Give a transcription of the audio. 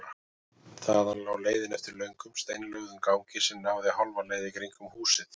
Þaðan lá leiðin eftir löngum steinlögðum gangi sem náði hálfa leið í kringum húsið.